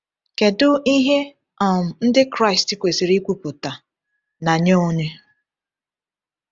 Kedu ihe um Ndị Kraịst kwesịrị ikwupụta, na nye onye?